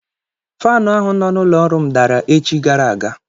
Faanụ ahụ nọ n'ụlọ ọrụ m dara echi gara aga.